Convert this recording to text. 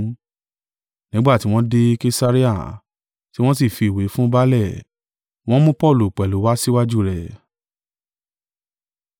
Nígbà tí wọ́n dé Kesarea, tí wọ́n sí fi ìwé fún baálẹ̀, wọ́n mú Paulu pẹ̀lú wá síwájú rẹ̀.